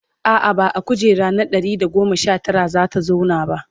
a'a ba a kujera na Ɗari da goma Sha Tara zata zauna ba